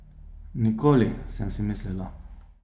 Nikoli, sem si mislila.